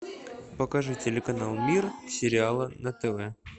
покажи телеканал мир сериала на тв